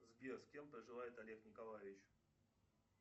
сбер с кем проживает олег николаевич